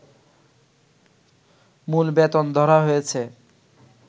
মূল বেতন ধরা হয়েছে